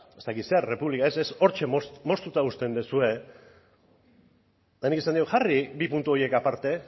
ez dakit zer república ez ez ez hortxe moztuta uzten duzue eta nik esan diot jarri bi puntu horiek aparte